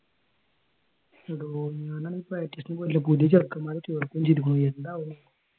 എടോ ഞാനാണെങ്കിൽ പ്രാക്ടിസിന് പോയില്ല പുതിയ ചെറുക്കൻമാരെ ചേർക്കുവേം ചെയ്തുപോയി എന്താവും